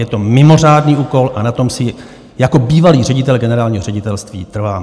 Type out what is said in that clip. Je to mimořádný úkol a na tom si jako bývalý ředitel generálního ředitelství trvám.